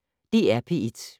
DR P1